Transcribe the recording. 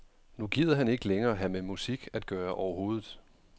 Nu gider han ikke længere have med musik at gøre overhovedet.